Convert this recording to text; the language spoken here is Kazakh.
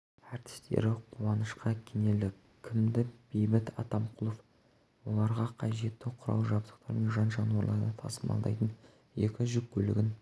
ртістері қуанышқа кенелді кімі бейбіт атамқұлов оларға қажетті құрал-жабдықтар мен жан-жануарларды тасымалдайтын екі жүк көлігін